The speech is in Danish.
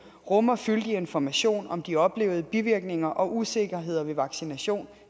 rummer fyldig information om de oplevede bivirkninger og usikkerheder ved vaccination